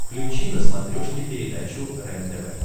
включи на смотрешке передачу рентв